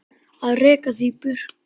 Að reka þig í burtu!